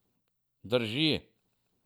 Drži.